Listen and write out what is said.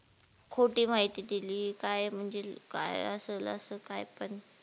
खोटी माहिती दिली काय म्हणजे काय असेल असं काय पण